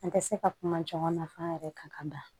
An tɛ se ka kuma caman na f'an yɛrɛ ka da